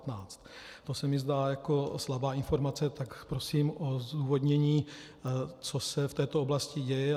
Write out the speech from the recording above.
To se mi zdá jako slabá informace, tak prosím o zdůvodnění, co se v této oblasti děje.